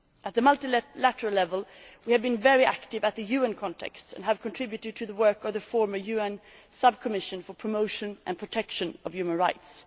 At the multilateral level, we have been very active in the UN context and have contributed to the work of the former UN Sub Commission for Promotion and Protection of Human Rights.